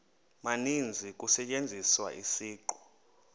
maninzi kusetyenziswa isiqu